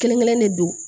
Kelen kelen de don